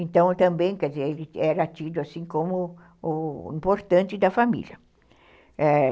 Então, também, quer dizer, ele era tido assim como o importante da família, é